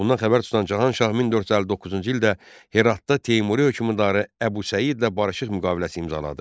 Bundan xəbər tutan Cahan Şah 1459-cu ildə Heratda Teymuri hökmdarı Əbu Səidlə barışıq müqaviləsi imzaladı.